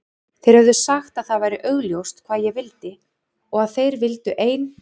Þeir höfðu sagt að það væri augljóst hvað ég vildi og að þeir vildu ein